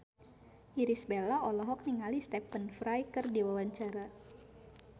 Irish Bella olohok ningali Stephen Fry keur diwawancara